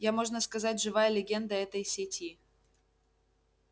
я можно сказать живая легенда этой сети